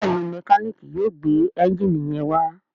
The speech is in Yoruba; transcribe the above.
Béèni Mẹkáníìkì yóò gbé Ẹ́ńjìnì yén wá.